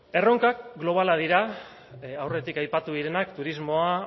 erronkak globalak dira aurretik aipatu direnak turismoa